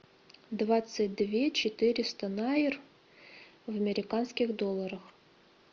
двадцать две четыреста найр в американских долларах